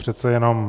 Přece jenom.